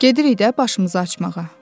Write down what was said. Gedirik də başımızı qaşımağa.”